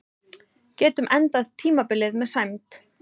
Getum endað tímabilið með sæmd